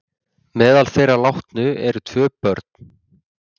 Meðal þeirra látnu eru tvö börn